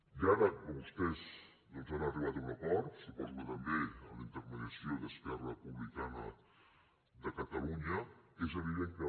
i ara que vostès doncs han arribat a un acord suposo que també amb la intermediació d’esquerra republicana de catalunya és evident que